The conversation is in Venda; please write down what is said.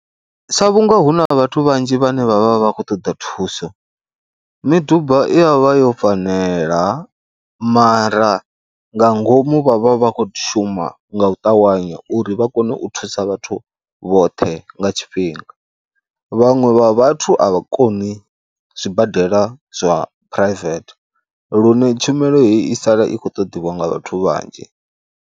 Sa vhunga hu na vhathu vhanzhi vhane vha vha vha khou ṱoḓa thuso miduba i ya vha yo fanela mara nga ngomu vha vha vha khou shuma nga u ṱavhanya uri vha kone u thusa vhathu vhoṱhe nga tshifhinga. Vhaṅwe vha vhathu a vha koni zwibadela zwa u phuraivethe lune tshumelo heyi i sala i khou ṱoḓiwa nga vhathu vhanzhi.